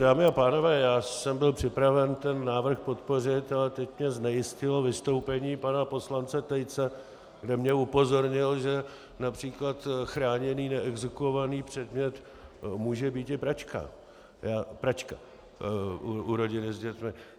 Dámy a pánové, já jsem byl připraven ten návrh podpořit, ale teď mě znejistilo vystoupení pana poslance Tejce, kde mě upozornil, že například chráněný neexekuovaný předmět může být i pračka u rodiny s dětmi.